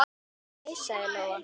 Nei, sagði Lóa.